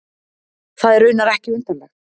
Það er raunar ekki undarlegt.